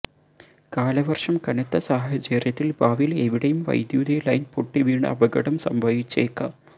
കാലവർഷം കനത്ത സാഹചര്യത്തിൽ ഭാവിയിൽ എവിടെയും വൈദ്യുതി ലൈൻ പൊട്ടി വീണ് അപകടം സംഭവിച്ചേക്കാം